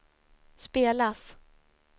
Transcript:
spelas